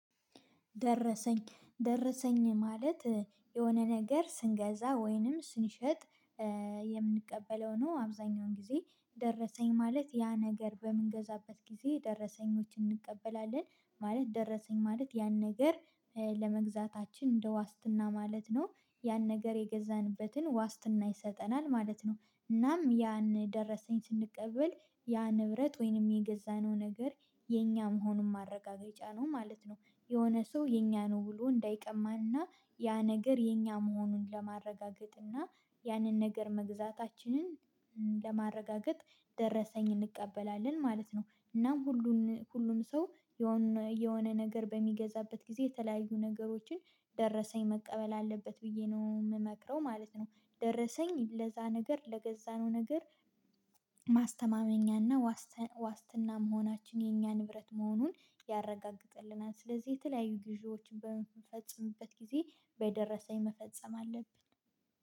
ደረሰኝ ደረሰኝ ማለት የሆነ ነገር ስንገዛ ወይንም ስንሸጥ የምንቀበለው ነው። አብዛኛውን ጊዜ ደረሰኝ ማለት ያ ነገር በምንገዛበት ጊዜ ደረሰኞችን እንቀበላለን። ማለት ደረሰኝ ማለት ያን ነገር ለመግዛታችን እንደ ዋስትና ማለት ነው። ያን ነገር የገዛንበትን ዋስትና ይሰጠናል ማለት ነው። እናም ያን ደረሰኝ ስንቀበል ያ ንብረት ወይንም የገዛነው ነገር የኛ መሆኑን ማረጋገጫ ነው ማለት ነው። የሆነ ሰው የኛ ነወ ብሎ እንዳይቀማን እና ያ ነገር የኛ መሆኑን ለማረጋገጥና ያንን ነገር መግዛታችንን ለማረጋገጥ ደረሰኝ እንቀበላለን ማለት ነው። እናም ሁሉን ሁሉም ሰው የሆነ ነገር በሚገዛበት ጊዜ የተለያዩ ነገሮችን ደረሰኝ መቀበል አለበት ብዬ ነው የምመክረው ማለት ነው። ደረሰኝ ለዛ ነገር ለገዛነው ነገር ማስተማመኛና ዋስትና መሆናችን የኛ ንብረት መሆኑን ያረጋግጥልናል። ስለዚህ የተለያዩ ግዢዎችን በምንፈጽምበት ጊዜ በደረሰኝ መፈጸም አለብን።